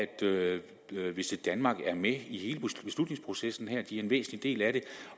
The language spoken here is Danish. visitdenmark er med i hele beslutningsprocessen her de er en væsentlig del af det